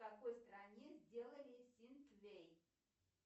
в какой стране сделали ситвей